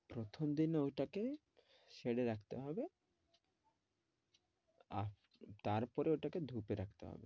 প্রথমদিন ঐটাকে shed এ রাখতে হবে আর তারপরে ঐটাকে ধুপে রাখতে হবে।